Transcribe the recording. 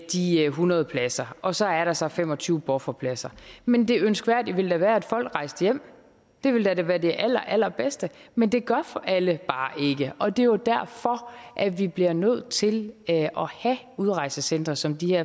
de hundrede pladser og så er der så fem og tyve bufferpladser men det ønskværdige ville da være at folk rejste hjem det ville da være det allerallerbedste men det gør alle bare ikke og det er jo derfor at vi bliver nødt til at have udrejsecentre som de her